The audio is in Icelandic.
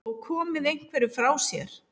Og komið einhverju frá sér?